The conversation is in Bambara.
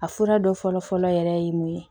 A fura dɔ fɔlɔ fɔlɔ yɛrɛ ye mun ye